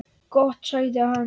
Gott sagði hann.